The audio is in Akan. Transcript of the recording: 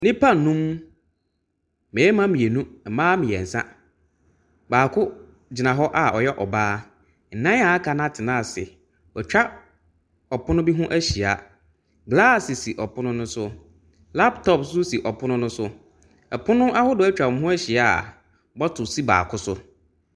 Nnipa nnum,. Mmarima mmienu mmaa mmiɛnsa. Baako gyima hɔ a ɔyɛ ɔbaa. Nnan a aka no atena ase. Wɔatwa ɔpono bi ho ahyia. Glass sisi ɔpono no so, laptop nso si ɔpono no so. ℇpono ahodoɔ atwa wɔn ho ahyia a bottle si baako so.